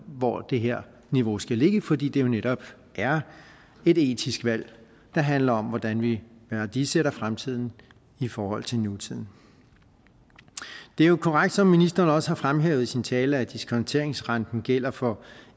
hvor det her niveau skal ligge fordi det jo netop er et etisk valg der handler om hvordan vi værdisætter fremtiden i forhold til nutiden det er jo korrekt som ministeren også har fremhævet i sin tale at diskonteringsrenten gælder for